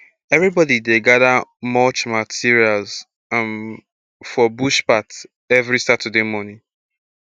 everybody dey gather mulch materials um for bush path every saturday morning